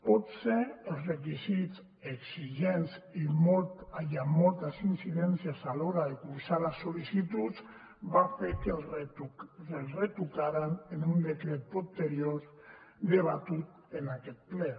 potser els requisits exigents i amb moltes incidències a l’hora de cursar les sol·licituds van fer que els retocaren en un decret posterior debatut en aquest ple